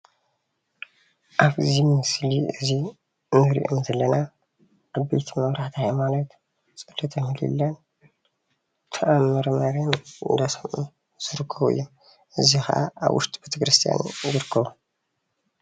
ኣብዚ ምስሊ እዙይ እንሪኦም ዘለና ዓበይቲ መራሕቲ ሃይማኖት ፀሎተ ምህላን ተኣምረ ማርያም እናሰምዑ ዝርከቡ እዮም። እዙይ ኸዓ ኣብ ውሽጢ ቤተክርስትያን ይርከቡ።